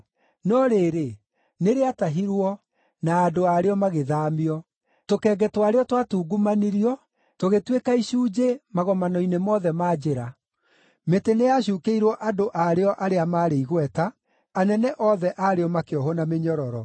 No rĩrĩ, nĩrĩatahirwo, na andũ aarĩo magĩthaamio. Tũkenge twarĩo twatungumanirio, tũgĩtuĩka icunjĩ magomano-inĩ mothe ma njĩra. Mĩtĩ nĩyacuukĩirwo andũ aarĩo arĩa maarĩ igweta, anene othe aarĩo makĩohwo na mĩnyororo.